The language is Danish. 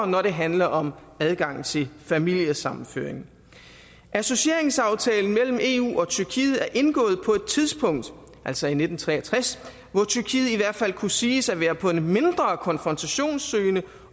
når det handler om adgang til familiesammenføring associeringsaftalen mellem eu og tyrkiet er indgået på et tidspunkt altså i nitten tre og tres hvor tyrkiet i hvert fald kunne siges at være på en mindre konfrontationssøgende